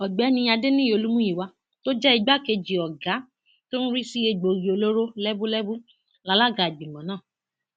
ọgbẹni adẹniyí olùmuyíwà tó jẹ igbákejì ọgá tó ń rí sí egbòogi olóró lẹbúlẹbú lálaga ìgbìmọ náà